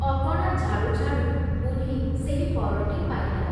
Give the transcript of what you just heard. ଅଗଣା ଝାଡ଼ୁ ଝାଡ଼ୁ ବୁଢ଼ୀ ସେହି ପରଟି ପାଇଲା ।